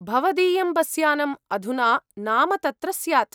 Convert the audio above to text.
भवदीयं बसयानम् अधुना नाम तत्र स्यात्।